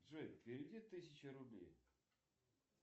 джой переведи тысячу рублей